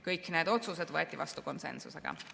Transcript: Kõik need otsused võeti vastu konsensusega.